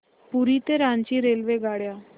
पुरी ते रांची रेल्वेगाड्या